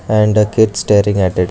And the kids staring at it.